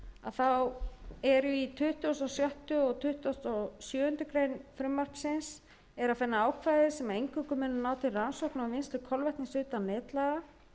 forseti er í tuttugasta og sjötta og tuttugasta og sjöundu greinar frumvarpsins að finna ákvæði sem eingöngu munu ná til rannsókna á vinnslu kolvetnis utan netlaga